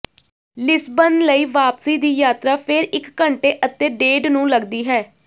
Lisbon ਲਈ ਵਾਪਸੀ ਦੀ ਯਾਤਰਾ ਫਿਰ ਇੱਕ ਘੰਟੇ ਅਤੇ ਡੇਢ ਨੂੰ ਲੱਗਦੀ ਹੈ